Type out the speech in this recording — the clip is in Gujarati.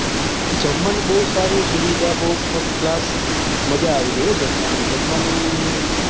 જમવાનું બહુ સારું સુવિધા બહુ first class મજા આવી ગયી હા જમવાની જમવાની